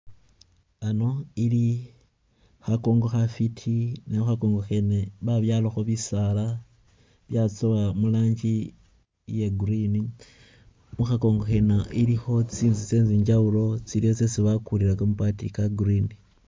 Ano ili kha kongo khafiti ne kha kongo kheene babyalakho bisaala byatsowa mu'ranjii iya green, khukha kongo kheene ilikho tsinzu tse njawulo tsiliwo tsesi bakulila kamabaati ka'green.